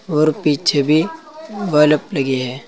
और पीछे भी बलफ लगे है।